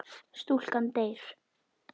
Stúlkan deyr.